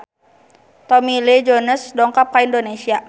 Tommy Lee Jones dongkap ka Indonesia